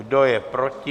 Kdo je proti?